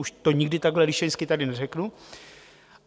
Už to nikdy takhle líšeňsky tady neřeknu.